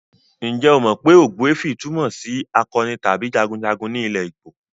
Ǹjẹ́ o mọ pé ogbuefi túmọ̀ sí akọni tàbí jagunjagun ní ilẹ̀ Igbo?